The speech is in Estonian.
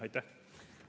Aitäh!